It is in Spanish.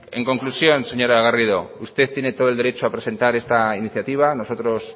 en conclusión señora garrido usted tiene todo el derecho a presentar esta iniciativa nosotros